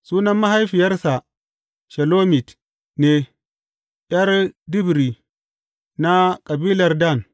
Sunan mahaifiyarsa Shelomit ne, ’yar Dibri na kabilar Dan.